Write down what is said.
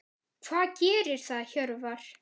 Hvað gerir það Hjörvar?